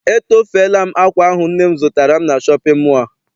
Etofela m akwa ahụ nne m zụtara m na shọpịn mọọ a.